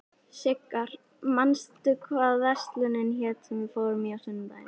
Sigarr, manstu hvað verslunin hét sem við fórum í á sunnudaginn?